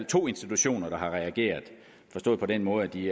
to institutioner der har reageret forstået på den måde at de